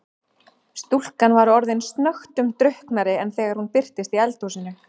Stúlkan var orðin snöggtum drukknari en þegar hún birtist í eldhúsinu.